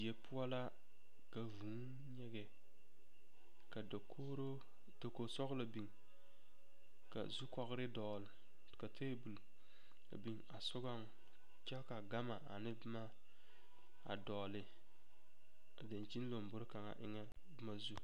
Die poɔ la ka vūū nyige ka dakogro dakogi sɔglɔ biŋ ka zukogre biŋ ka tebol a sɔgaŋ kyɛ ka gama ane boma a dɔgle a daŋkyini lombori kaŋ a eŋɛ.